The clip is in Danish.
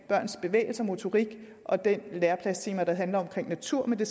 børns bevægelse og motorik og det læreplanstema der handler om natur men det